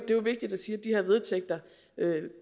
jo vigtigt at sige